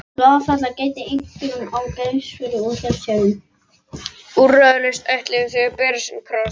Úrræðalaus ætluðu þau að bera sinn kross.